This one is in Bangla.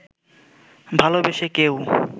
ভালোবেসে কেউ